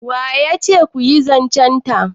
wa ya ce ku yi zancenta